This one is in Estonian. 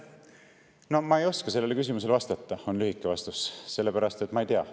No ma ei oska sellele küsimusele vastata, on lühike vastus, sellepärast et ma ei tea.